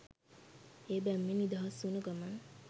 ඒ බැම්මෙන් නිදහස් උන ගමන්